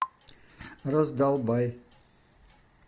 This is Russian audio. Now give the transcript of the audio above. раздолбай